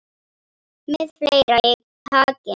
Með fleira í takinu